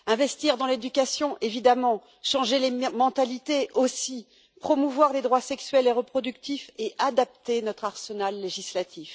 Investir dans l'éducation, évidemment, changer les mentalités, aussi, promouvoir les droits sexuels et reproductifs et adapter notre arsenal législatif.